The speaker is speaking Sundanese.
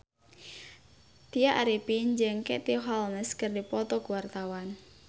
Tya Arifin jeung Katie Holmes keur dipoto ku wartawan